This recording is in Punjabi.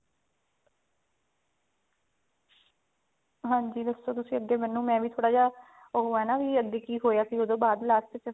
ਹਾਂਜੀ ਦੱਸੋ ਤੁਸੀਂ ਅੱਗੇ ਮੈਨੂੰ ਉਹ ਹੈ ਨਾ ਵੀ ਅੱਗੇ ਕੀ ਹੋਇਆ ਸੀ ਉਹਤੋਂ ਬਾਅਦ last ਚ